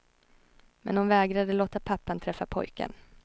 Men hon vägrade låta pappan träffa pojken.